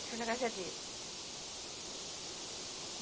Deixou na casa dele.